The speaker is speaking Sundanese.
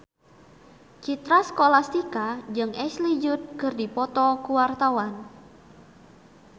Citra Scholastika jeung Ashley Judd keur dipoto ku wartawan